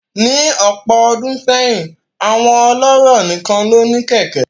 Ní ọ̀pọ̀ ọdún sẹ́yìn, àwọn ọlọ́rọ̀ nìkan ló ní kẹ̀kẹ́